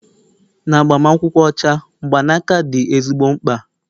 na agbamakwụkwọ ọcha, mgbanaka dị ezigbo mkpa